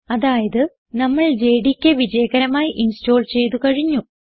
അതായത് നമ്മൾ ജെഡികെ വിജയകരമായി ഇൻസ്റ്റോൾ ചെയ്തു കഴിഞ്ഞു